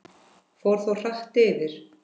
Fór þó hratt yfir.